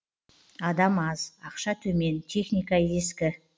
адам аз ақша төмен техника ескі